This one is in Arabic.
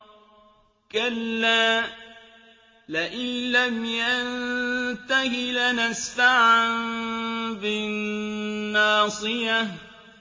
كَلَّا لَئِن لَّمْ يَنتَهِ لَنَسْفَعًا بِالنَّاصِيَةِ